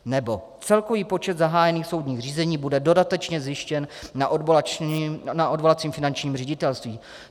Nebo: Celkový počet zahájených soudních řízení bude dodatečně zjištěn na odvolacím finančním ředitelství.